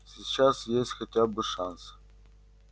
сейчас есть хотя бы шанс